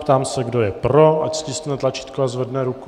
Ptám se, kdo je pro, ať stiskne tlačítko a zvedne ruku.